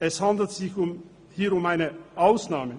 Es handelt sich hier um eine Ausnahme.